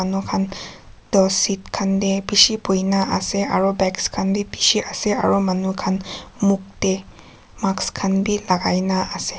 seat khan de bishi buhi gina ase aro bags khan b bishi ase aro manu khan muk de mask khan b lagai na ase.